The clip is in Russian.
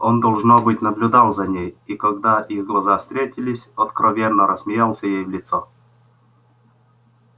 он должно быть наблюдал за ней и когда их глаза встретились откровенно рассмеялся ей в лицо